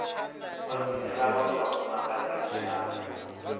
o dzhenela vhaṅwe vhafumakadzi hayani